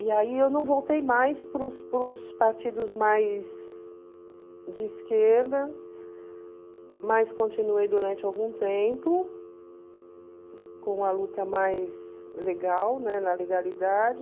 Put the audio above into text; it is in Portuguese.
E aí eu não voltei mais para os para os partidos mais de esquerda, mas continuei durante algum tempo com a luta mais legal, né, na legalidade.